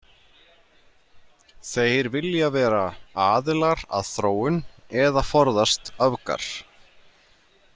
Þeir vilja vera „aðilar að þróun“ eða „forðast öfgar“.